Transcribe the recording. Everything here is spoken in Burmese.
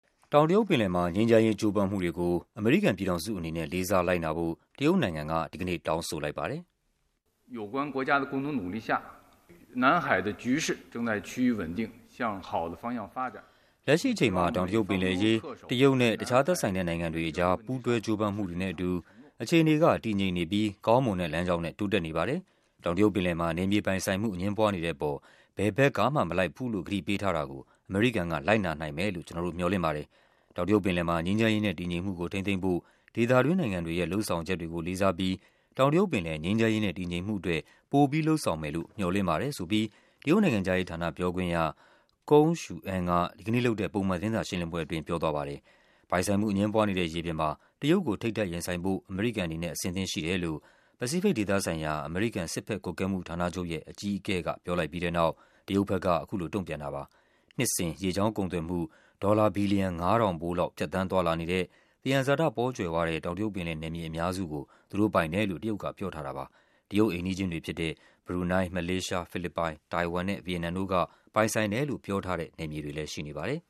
တောင်တရုတ်ပင်လယ်မှာ ငြိမ်းချမ်းရေးကြိုးပမ်းမှုတွေကို အမေရိကန်ပြည်ထောင်စုအနေနဲ့ လေးစားလိုက်နာဖို့ တရုတ်နိုင်ငံက ဒီကနေ့ တောင်းဆိုလိုက်ပါတယ်။ “လက်ရှိအချိန်မှာ တောင်တရုတ်ပင်လယ်အရေး တရုတ်နဲ့ တခြား သက်ဆိုင်တဲ့နိုင်ငံတွေအကြား ပူးတွဲကြိုးပမ်းမှုတွေနဲ့အတူ အခြေအနေက တည်ငြိမ်နေပြီး ကောင်းမွန်တဲ့လမ်းကြောင်းနဲ့ တိုးတက် နေပါတယ်။ တောင်တရုတ်ပင်လယ်မှာ နယ်မြေပိုင်ဆိုင်မှု အငြင်းပွားနေတဲ့အပေါ် ဘယ်ဘက်ကမှ မလိုက်ဘူးလို့ ကတိပေးထား တာကို အမေရိကန်က လိုက်နာနိုင်မယ်လို့ ကျနော်တို့ မျှော်လင့်ပါတယ်။ တောင်တရုတ်ပင်လယ်မှာ ငြိမ်းချမ်းရေးနဲ့ တည်ငြိမ်မှုကို ထိန်းသိမ်းဖို့ ဒေသတွင်းနိုင်ငံတွေရဲ့ လုပ်ဆောင်ချက်တွေကို လေးစားပြီး တောင်တရုတ်ပင်လယ် ငြိမ်းချမ်းရေးနဲ့ တည်ငြိမ်မှု အတွက် ပိုပြီး လုပ်ဆောင်မယ်လို့ မျှော်လင့်ပါတယ်။” ဆိုပြီး တရုတ်နိုင်ငံခြားရေးဌာန ပြောခွင့်ရ Geng Shuang က ဒီကနေ့လုပ် တဲ့ ပုံမှန်သတင်းစာရှင်းလင်းပွဲအတွင်း ပြောသွားပါတယ်။ ပိုင်ဆိုင်မှုအငြင်းပွားနေတဲ့ ရေပြင်မှာ တရုတ်ကို ထိပ်တိုက်ရင်ဆိုင်ဖို့ အမေရိကန်အနေနဲ့ အဆင်သင့်ရှိတယ်လို့ ပစိဖိတ်ဒေသ ဆိုင်ရာ အမေရိကန် စစ်ဘက်ကွပ်ကဲမှုဌာနချုပ်ရဲ့ အကြီးအကဲက ပြောလိုက်ပြီးတဲ့နောက် တရုတ်ဘက်က အခုလို တုန့်ပြန်တာပါ။ နှစ်စဉ်ရေကြောင်းကုန်သွယ်မှု ဒေါ်လာ ဘီလီယံ ၅၀၀၀ ဖိုးလောက် ဖြတ်သန်းသွားလာနေတဲ့ သယံဇာတပေါကြွယ်ဝတဲ့ တောင် တရုတ်ပင်လယ် နယ်မြေအများစုကို သူတို့ပိုင်တယ်လို့ တရုတ်က ပြောထားတာပါ။ တရုတ်အိမ်နီးချင်းတွေဖြစ်တဲ့ ဘရူနိုင်း၊ မလေးရှား၊ ဖိလစ်ပိုင်၊ တိုင်ဝမ်နဲ့ ဗီယက်နမ်တို့က ပိုင်ဆိုင်တယ်လို့ ပြောထားတဲ့ နယ်မြေတွေလည်း ရှိနေပါတယ်